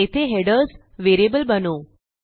येथे headers variable बनवू